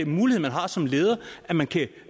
mulighed man har som leder at man kan